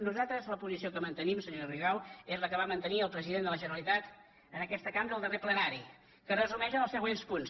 nosaltres la posició que mantenim senyora rigau és la que va mantenir el president de la generalitat en aquesta cambra el darrer plenari que es resumeix en els se·güents punts